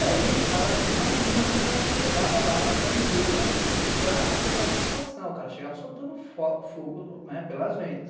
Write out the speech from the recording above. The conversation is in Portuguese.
E aí o cara imagina como o cara não chegava lá na empresa para acertar essa situação, o cara chegava soltando fogo pelas ventas.